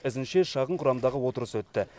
ізінше шағын құрамдағы отырыс өтті